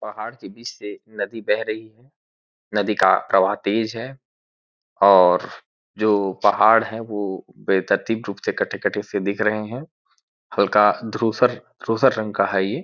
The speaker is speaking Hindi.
पहाड़ से नदी बेह रही है नदी का प्रवाह तेज है और जो पहाड़ है वो रूप से कटे-कटे से दिख रहे है हल्का धुरसर धुरसर रंग का है।